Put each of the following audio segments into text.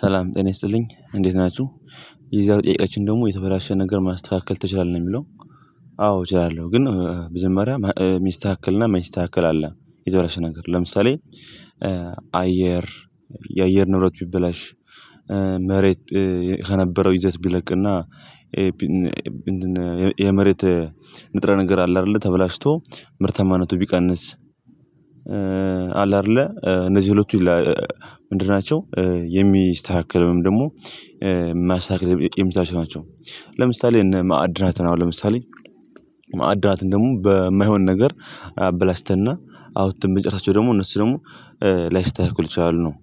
ሰላም ጤና ይስጥልኝ እንዴት ናችሁ። የዛሬው ጥያቄያችን ደግሞ የተበላሸ ነገር ማስተካከል ትችላለህ ነው የሚለው? አዎ እችላለሁ ግን መጀመሪያ ሚስተካከል እና ማይስተካከል አለ። የተበለሽ ነገር ለምሳሌ አየር የአየር ንብረት ቢበላሽ መሬት ከነበረው ይዘት ቢለቅና የመሬት ንጥረ ነገር አለ አይደለ ተበላሽቶ ምርታማነቱ ቢቀንስ አለ አይደለ እነዚህ ሁለቱ ምንድን ናቸው? የሚስተካከለውን ደግሞ ማስተካከል የሚጠይቁ ናቸው። ለምሳሌ እነ ማዕድናትን አሁን ለምሳሌ ማዕድናትን ደግሞ በማይሆን ነገር አበላሽተንና አውተን ብንጨርሳቸው ደግሞ እነሱ ደግሞ ላይስታካከሉ ይችላሉ ነው።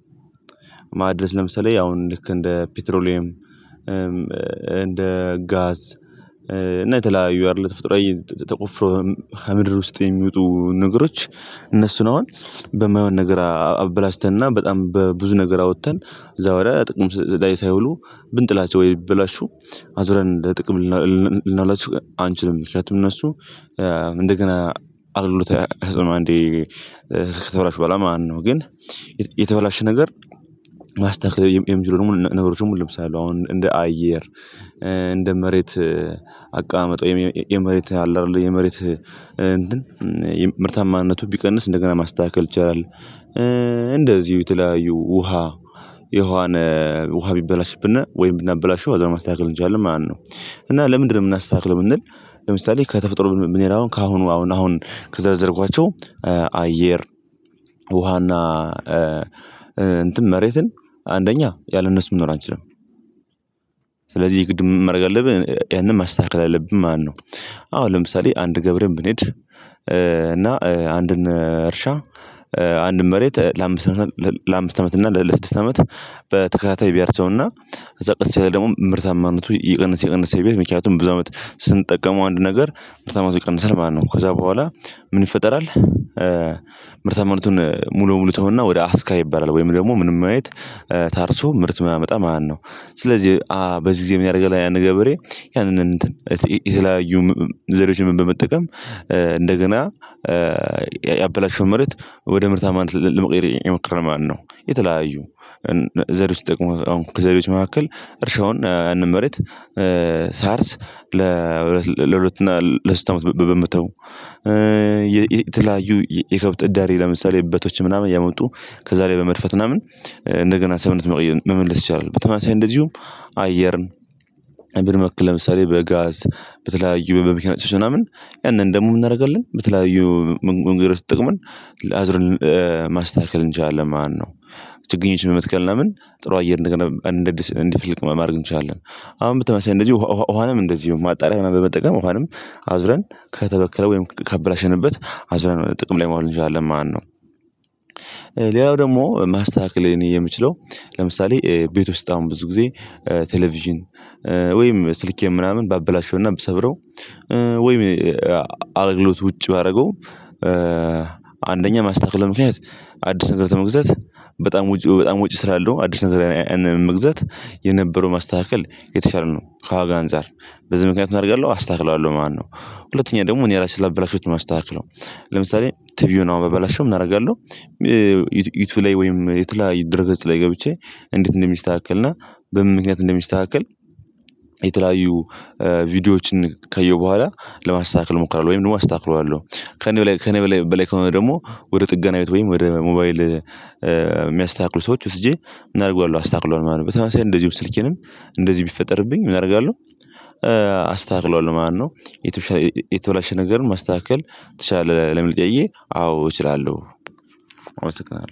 ማድረስ ለምሳሌ አሁን ልክ እንደ ፔትሮሊየም እንደ ጋዝ እና የተለያዩ አይደለም ተፎጥሮአዊ ተቆፍሮ ከምድር ውስጥ የሚወጡ ነገሮች እነሱን ነው። አሁን ነገር አበላሽተንና በጣም በብዙ ነገር አውጥተን እዛ ወዲያ ጥቅም ላይ ሳይውሉ ብንጥላቸው ወይ ቢበላሹ አዙረን እንደ ጥቅም ልናውላችሁ አንችልም ምክንያቱም እነሱ እንደገና አገልግሎት አይሰጡም አንዴ ከተበላሹ በኋላ ማለት ነው። ግን የተበላሸ ነገር ማስተካከል የሚችሉ ደግሞ ነገሮች ደሞ አሉ። ለምሳሌ አሁን እንደ አየር እንደ መሬት አቀማመጡ የመሬት አለ አይደለ የመሬት ምርታማነቱ ቢቀንስ እንደገና ማስተካከል ትችላለህ። እንደዚሁ የተለያዩ ውሃ የውሃን ውሃ ቢበላሽብና ወይም ብናበላሽው አዛው ማስተካከል እንችላለን ማለት ነው። እና ለምንድነው የምናስተካክለው ብንል? ለምሳሌ ከተፈጥሮ ብንሄድ አሁን ከአሁኑ አሁን አሁን ከዘረዘርኳቸው አየር ውሃና እንትን መሬትን አንደኛ ያለነሱ መኖር አንችልም። ስለዚህ ግድ ምን ማረግ አለብን ያንን ማስተካከል አለብን። ማነው? አሁን ለምሳሌ አንድ ገብሬ ብንሄድ እና አንድን እርሻ አንድን መሬት ለአምስት ለአምስት አመት እና ለስድስት አመት በተከታታይ ቢያርሰውና ከዛ ቀስ ያለ ደግሞ ምርታማነቱ እየቀነሰ እየቀነሰ ቢሄድ ምክንያቱም ብዙ አመት ስንጠቀመው አንድ ነገር ምርታማነቱ ይቀንሰል ማለት ነው። ከዛ በኋላ ምን ይፈጠራል? ምርታማነቱን ሙሉ ሙሉ ተወና ወደ አስካ ይባላል ወይም ደግሞ ምንም አይነት ታርሶ ምርት ማያመጣ ማለት ነው። ስለዚህ በዚህ ጊዜ ምን ያደርጋል? ገብሬ ያንን የተለያዩ ዘዴዎችን በመጠቀም እንደገና ምርት ወደ ምርታማነት ለመቀየር የሞከረ ማለት ነው። የተለያዩ ዘር ውስጥ ደግሞ ከዘሪዎች መካከል እርሻውን እንመረጥ። ሳርስ ለሁለት ለሁለት እና ለሶስት አመት በመተው የተለያዩ የከብት እዳሪ ለምሳሌ እበቶች ምናምን ያመጡ ከዛ ላይ በመድፈት ምናምን እንደገና ሰብነት መመለስ ይቻላል። በተመሳሳይ እንደዚሁም አየርን መልክ ለምሳሌ በጋዝ በተለያዩ በመኪና ጭሶች ምናምን ያንን ደግሞ ምን እናደርጋለን? በተለያዩ መንገዶች ተጠቅመን አዙረን ማስተካከል እንችላልን ማለት ነው። ችግኞችን በመትከል ምናምን ጥሩ አየር እንደገና እንደ አዲስ እንዲፈልቅ ማድረግ እንችላለን። አሁን ተመሳሳይ እንደዚህ ውሃንም እንደዚህ ማጣሪያ በመጠቀም ውሃንም አዙረን ከተበከለ ወይንም ካበላሸንበት አዝራን ጥቅም ላይ ማውራት እንችላለን ማነው? ሌላው ደግሞ ማስተካከል እኔ የሚችለው ለምሳሌ ቤት ውስጥ አሁን ብዙ ጊዜ ቴሌቪዥን ወይም ስልኬን ምናምን ባበላሸውና ብሰብረው ወይም አገልግሎት ውጭ ባደርገው ማስተካከለው ምክንያት አዲስ ነገር ከመግዛት በጣም ውጪ ስራ አለው አዲስ ነገር መግዛት የነበረው ማስተካከል የተሻለ ነው። ከዋጋ አንፃር በዚህ ምክንያት ምን አደርጋለሁ አስተካክለዋለሁ ማለት ነው። ሁለተኛ ደግሞ እኔ ራሴ ስላበላሸሁት ነው ማስተካከለው ለምሳሌ ቲቪው አሁን ባበላሸው ምን እናደርጋለን? ዩቲዩብ ላይ ወይም የተለያዩ ድረ ገጽ ላይ ገብቼ እንዴት እንደሚስተካከልና በምን ምክንያት እንደሚስተካከል? የተለያዩ ቪዲዮዎችን ካየው በኋላ ለማስተካከል እሞክራለሁ ወይም ደግሞ አስተካክለዋለሁ። ከእኔ በላይ በላይ ከሆነ ደግሞ ወደ ጥገና ቤት ወይም ወደ ሞባይል የሚያስተካክሉ ሰዎች ወስጄ ምን አደርገዋለሁ አስተካክለዋለሁ ማለት ነው። በተመሳሳይ እንደዚሁ ስልኬንም እንደዚህ ቢፈጠርብኝ ምን አደርጋለሁ? አስተካክለዋለሁ። የቱ የተበላሸ ነገር ማስተካከል ትችላለህ ለሚል ጠየቅዬ አዎ እችላለሁ። አመሰግናለሁ